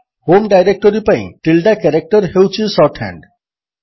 home directory ପାଇଁ tilde character ହେଉଛି shorthand